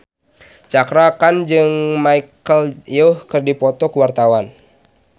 Cakra Khan jeung Michelle Yeoh keur dipoto ku wartawan